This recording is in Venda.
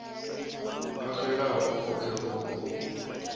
o xelaho o kheruwa o